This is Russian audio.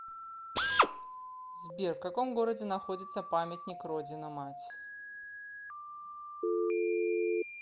сбер в каком городе находится памятник родина мать